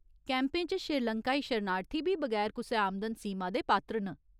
कैंपें च श्रीलंकाई शरणार्थी बी बगैर कुसै आमदन सीमा दे पात्र न।